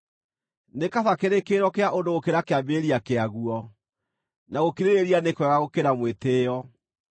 Nĩ kaba kĩrĩkĩrĩro kĩa ũndũ gũkĩra kĩambĩrĩria kĩaguo, na gũkirĩrĩria nĩ kwega gũkĩra mwĩtĩĩo.